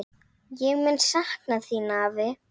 Ég mun sakna þín, afi.